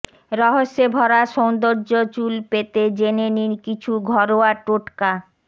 রহস্যে ভরা সৌন্দর্য চুল পেতে জেনে নিন কিছু ঘরোয়া টোটকা